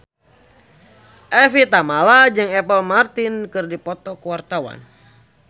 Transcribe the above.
Evie Tamala jeung Apple Martin keur dipoto ku wartawan